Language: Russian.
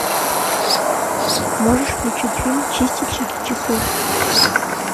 можешь включить фильм чистильщики часов